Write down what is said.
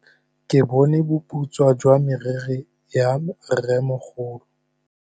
Ke bone boputswa jwa meriri ya rrêmogolo.